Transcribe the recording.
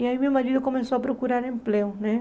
E aí meu marido começou a procurar emprego, né?